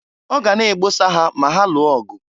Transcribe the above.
Ọ ga na-egbosa ha ma ha lụọ ọgụ.